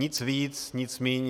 Nic víc, nic míň.